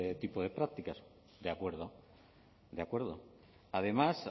tipo de prácticas de acuerdo de acuerdo además